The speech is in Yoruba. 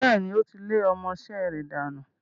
Bẹ́ẹ̀ni, ó lé ọmọ-isẹ́ rẹ̀ dànù.